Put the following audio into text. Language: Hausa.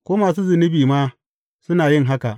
Ko masu zunubi ma suna yin haka.